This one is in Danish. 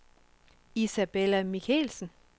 Isabella Michelsen